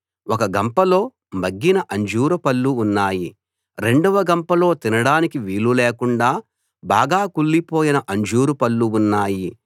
ఒక గంపలో మగ్గిన అంజూరు పళ్ళు ఉన్నాయి రెండవ గంపలో తినడానికి వీలు లేకుండా బాగా కుళ్ళిపోయిన అంజూరు పళ్ళు ఉన్నాయి